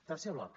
tercer bloc